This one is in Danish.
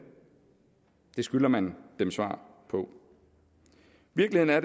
det skylder man dem svar på virkeligheden er